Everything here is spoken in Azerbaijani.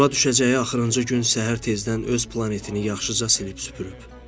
Yola düşəcəyi axırıncı gün səhər tezdən öz planetini yaxşıca silib süpürüb.